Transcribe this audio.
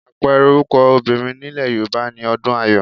Àpẹẹrẹ orúkọ obìnrin nílẹ̀ Yorùbá ni Ọdùnayọ̀